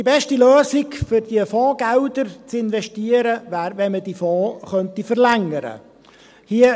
Die beste Lösung, um diese Fondsgelder zu investieren, wäre, wenn man diese Fonds verlängern könnte.